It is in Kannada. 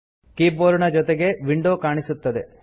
ಕೀಬೋರ್ಡ್ ನ ಜೊತೆಗೆ ವಿಂಡೋ ಕಾಣಿಸುತ್ತದೆ